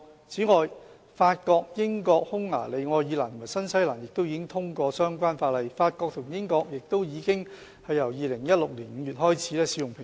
此外，法國、英國、匈牙利、愛爾蘭和新西蘭亦已經通過相關法例，法國和英國亦由2016年5月開始使用平裝。